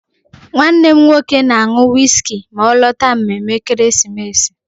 Nwannem nwoke na-aṅụ wiski ma ọ lọta mmemme ekeresimesi.